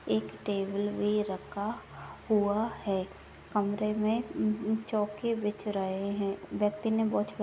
एक टेबल भी रखा हुआ है कमरे में इम्म चोके बिछ रहे हैं व्यक्ति ने वॉच --